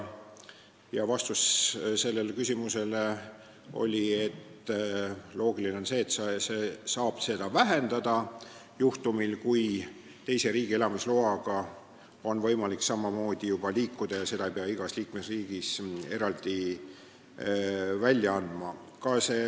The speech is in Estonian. Vastuseks kõlas, et loogiline on see, et halduskoormus väheneb, kui teise riigi elamisloaga on võimalik ka Eestis viibida ja seda luba ei pea igas liikmesriigis eraldi välja andma.